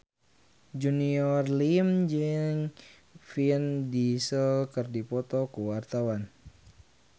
Junior Liem jeung Vin Diesel keur dipoto ku wartawan